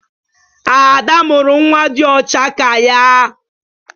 Ada mụrụ nwa dị ọcha ka ya.